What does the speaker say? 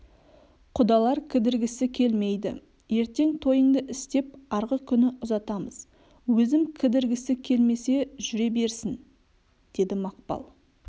құдалар кідіргісі келмейді ертең тойыңды істеп арғы күні ұзатамыз өзім кідіргісі келмесе жүре берсін деді мақпал